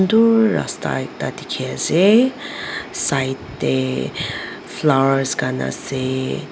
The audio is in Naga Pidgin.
dur rasta ekta dikhi ase side teh flowers khan ase.